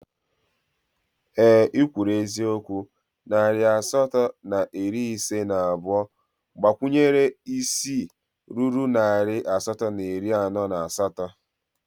Ee ị kwuru eziokwu, narị asatọ na iri ise na abụọ gbakwunyere isii ruru narị asatọ na iri anọ na asatọ